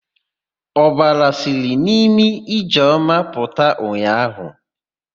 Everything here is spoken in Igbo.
Ọbara siri n'imi Ijeọma pụta ụnyaahụ.